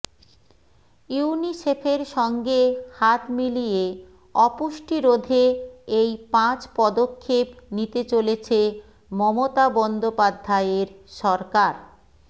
ইউনিসেফের সঙ্গে হাত মিলিয়ে অপুষ্টি রোধে এই পাঁচ পদক্ষেপ নিতে চলেছে মমতা বন্দ্যোপাধ্যায়ের সরকার